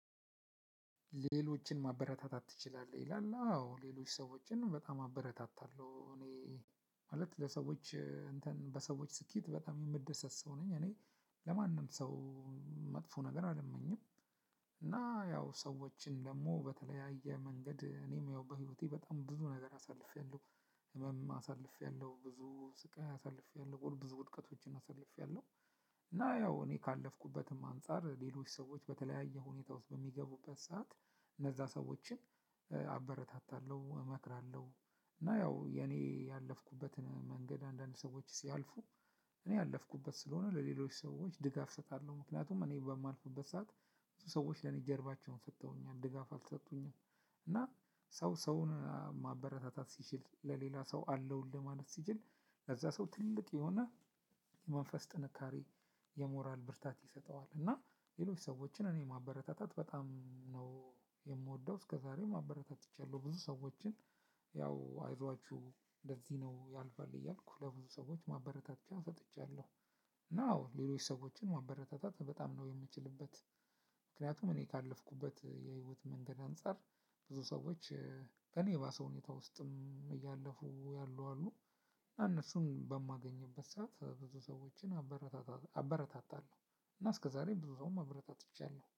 ሌሎችን ማበረታታት ትችላለህ? ይላል አዎ ሌሎች ሰዎችን በጣም አበረታታለሁ እኔ ማለት ለሰዎች እንትን በሰዎች ስኬት በጣም እምደሰት ሰው ነኝ። እኔ ለማንም ሰው መጥፎ ነገር አልመኝም። እና ያው ሰዎችን ደግሞ በተለያየ መንገድ እኔም ያው በህይወቴ በጣም ብዙ ነገር አሳልፌያለሁ ህመም አሳልፌያለሁ ብዙ ስቃይ አሳልፌያለሁ ጎል ብዙ ውድቀቶችን አሳልፌያለሁ። እና ያው እኔ ካለፍኩበትም አንፃር ሌሎች ሰዎች በተለያየ ሁኔታ ውስጥ በሚገቡበት ሰዓት እነዛ ሰዎችን አበረታታለሁ። እመክራለሁ። እና ያው የኔ ያለፍኩበትን መንገድ አንዳንድ ሰዎች ሲያልፉ እኔ ያለፍኩበት ስለሆነ ለሌሎች ሰዎች ድጋፍ እሰጣለሁ። ምክንያቱም እኔ በማልፉበት ሰዓት እሱ ሰዎች ለኔ ጀርባቸውን ሰጥተውኛል ድጋፍ አልሰጡኝም። እና ሰው ሰውን ማበረታታት ሲችል ለሌላ ሰው አለውልህ ማለት ሲችል ከዛ ሰው ትልቅ የሆነ የመንፈስ ጥንካሬ የሞራል ብርታት ይሰጠዋል። እና ሌሎች ሰዎችን እኔ ማበረታታት በጣም ነው የምወደው። እስከዛሬም አበረታትቻለሁ ብዙ ሰዎችን ያው አይዟችሁ እንደዚህ ነው ያልፋል እያልኩ ለብዙ ሰዎች ማበረታቻ ሰጥቻለሁ። እና አወ ሌሎችን ሰወች ማበረታታት በጣም ነው እምችልበት። ምክንያቱም እኔ ካለፍኩበት የህይወት መንገድ አንፃር ብዙ ሰዎች ከእኔ የባሰ ሁኔታ ውስጥም እያለፉ ያሉ አሉ። እና እነሱን በማገኝበት ሰዓት ብዙ ሰዎችን አበረታታለሁ እና እስከዛሬ ብዙ ሰውም አብረታትቻለሁ